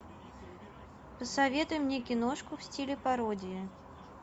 посоветуй мне киношку в стиле пародия